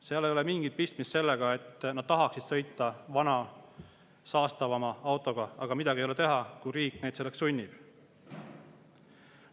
Seal ei ole mingit pistmist sellega, et nad tahaksid sõita vana saastavama autoga, aga midagi ei ole teha, kui riik neid selleks sunnib.